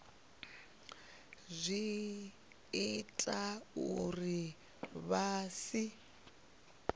zwi ita uri vha si